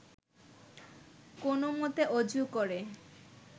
কোনোমতে অজু করে